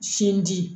Sinji